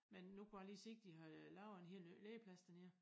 Men nu kunne jeg lige se de har øh lavet en helt ny legeplads dernede